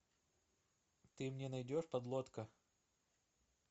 ты мне найдешь подлодка